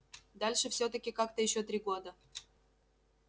дальше всё-таки как-то ещё три года